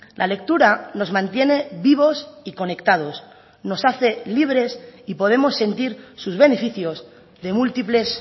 la lectura nos mantiene vivos y conectados nos hace libres y podemos sentir sus beneficios de múltiples